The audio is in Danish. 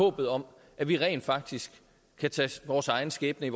håbet om at vi rent faktisk kan tage vores egen skæbne